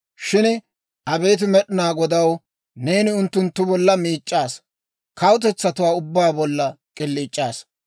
Shin abeet Med'inaa Godaw, neeni unttunttu bolla miic'c'aasa; kawutetsatuwaa ubbaa bolla k'iliic'aasa.